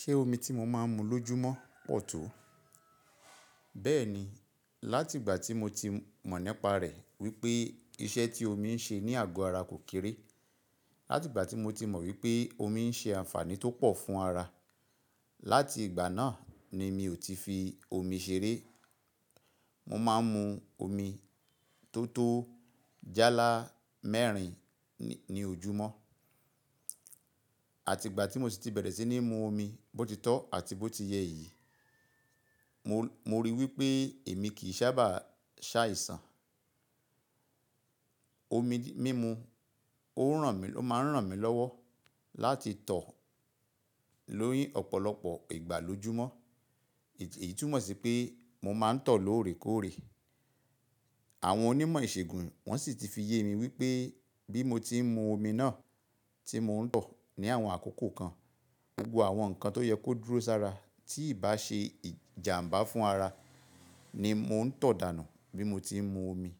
Ṣé omi tí mo máa ń mu lójúmọ̀ pọ̀ tó? Bẹ́ẹ̀ni, láti ìgbà tí mo ti mọ̀ nípa rẹ̀ wípé iṣẹ́ tí omi ń ṣe ní àgọ́ ara kò kéré, láti ìgbà tí mo ti mọ̀ wípé omi ń ṣe àǹfààní tó pọ̀ fún ara, láti ìgbà náà ni mi ò tí fi omi ṣeré. Mo máa ń mu omi tó tó jálá mẹ́rin ní ojúmọ̀ àti ìgbà tí mo sì ti bẹ̀rẹ̀ sí ní mu omi bótitọ́ àti bó ti yẹ yìí, mo, mo ríi wípé èmi kì í sábà ṣàìsàn. Omi mímu ó ń ràn mí, ó máa ń ràn mí lọ́wọ́ láti tọ̀ ni ọ̀pọ̀lọpọ̀ ìgbà lójúmọ́. Èyí túmọ̀ sí pé mo máa ń tọ̀ lóòrèkóòrè. Àwọn onímọ̀ ìṣègùn wọ́n sì ti fi ye mi wípé bí mo tí ń mu omi náà tí mò ń tọ̀ ní àwọn àkókò kan, gbogbo àwọn nǹkan tó yẹ kó dúró sára tí ì bá ṣe ìjàǹbá fún ara ni mò ń tọ̀ dànù bí mo ti ń mu omi.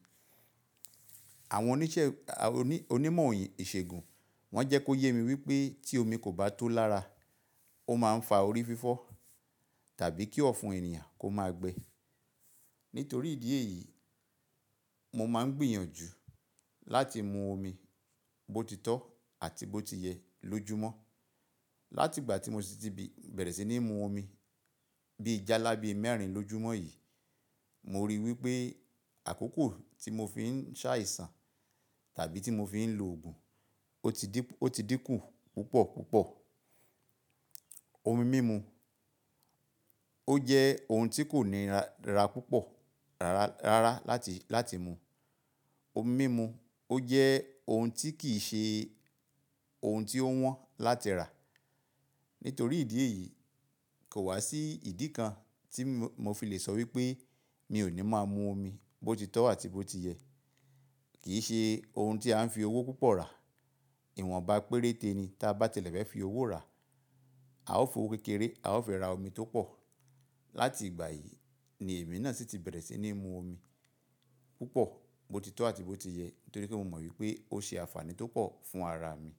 Àwọn oníṣẹ́, oní, onímọ̀ ìṣègùn wọ́n jẹ́ kó yé mi wípé tí omi kò bá tó lára, ó máa ń fa orí fífọ́ tàbí kí ọ̀fun ènìyàn kó máa gbe. Nítorí ìdí èyí, mo máa ń gbìyànjú láti mu omi bótitọ́ àti bó ti yẹ lójúmọ̀. Láti ìgbà tí mo sì ti bẹ̀rẹ̀ sí ní mu omi bí jálá bí mẹ́rin lójúmọ́ yìí, mo ríi wípé àkókò tí mo fi ń ṣàìsàn tàbí tí mo fi ń lo òògùn ó ti dín, ó ti dín kù púpọ̀ púpọ̀. Omi mímu ó jẹ́ ohun tí kò ní ra púpọ̀ rárá, rárá láti, láti mu. Omi mímu ó jẹ́ ohun tí kì í ṣe ohun tí ó wọ́n láti rà. Nítorí ìdí èyí kò wá sí ìdí kan tí mo fi lè sọ wípé mi ò ní máa mu omi bótitọ́ àti bó ti yẹ. Kì í ṣe ohun tí a ń fi owó púpọ̀ rà. Ìwọ̀n bá péréte ni tí a bá tilẹ̀ fẹ́ fi owó rà. A ó fi owó kékeré a ó fẹ́ ra omi tó pọ̀. Láti ìgbà yìí ni èmi náà sì ti bẹ̀rẹ̀ sí ní mu omi púpọ̀ bótitọ́ àti bó ti yẹ nítorí pé mo mọ̀ wípé ó ṣe àǹfààní tó pọ̀ fún ara mi.